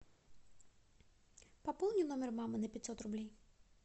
пополни номер мамы на пятьсот рублей